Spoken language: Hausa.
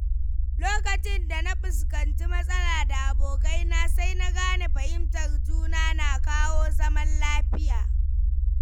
Lokacin da na fuskanci matsala da abokai na, sai na gane fahimtar juna na kawo zaman lafiya.